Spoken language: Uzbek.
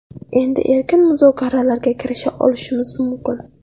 Endi erkin muzokaralarga kirisha olishimiz mumkin.